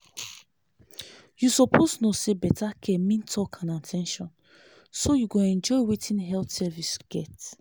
you suppose know say better care mean talk and at ten tion so you go enjoy wetin health service get.